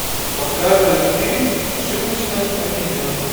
показывай фильм ошибочно обвиненный